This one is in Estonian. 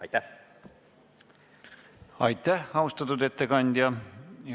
Aitäh, austatud ettekandja!